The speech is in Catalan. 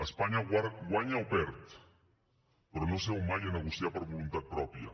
espanya guanya o perd però no seu mai a negociar per voluntat pròpia